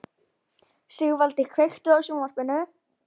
Sigvaldi, kveiktu á sjónvarpinu.